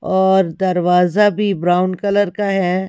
और दरवाजा भी ब्राउन कलर का है।